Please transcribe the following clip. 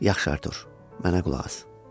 Yaxşı, Artur, mənə qulaq as.